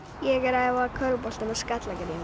ég er að æfa körfubolta með Skallagrími